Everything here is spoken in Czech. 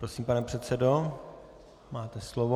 Prosím, pane předsedo, máte slovo.